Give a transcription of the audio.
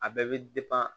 A bɛɛ bɛ